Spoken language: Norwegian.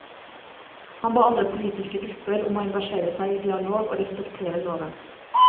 Han ba alle politiske grupper om å engasjere seg i dialog og respektere loven.